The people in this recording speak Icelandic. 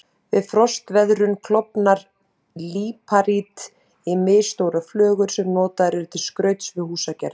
Við frostveðrun klofnar líparít í misstórar flögur sem notaðar eru til skrauts við húsagerð.